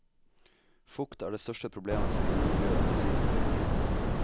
Fukt er det største problemet for innemiljøet, ved siden av røyking.